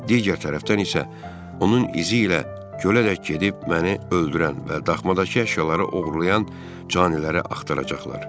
Digər tərəfdən isə onun izi ilə gölədək gedib məni öldürən və daxmadakı əşyaları oğurlayan caniləri axtaracaqlar.